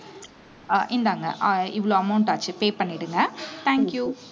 அஹ் இந்தாங்க அஹ் இவ்வளவு amount ஆச்சு pay பண்ணிடுங்க thank you